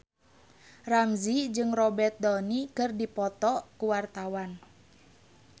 Ramzy jeung Robert Downey keur dipoto ku wartawan